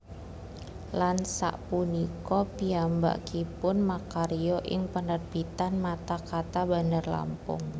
Lan sak punika piyambakipun makarya ing penerbitan Mata Kata Bandarlampung